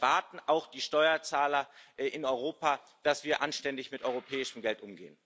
Denn auch das erwarten die Steuerzahler in Europa, dass wir anständig mit europäischem Geld umgehen.